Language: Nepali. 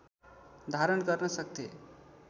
धारण गर्न सक्थे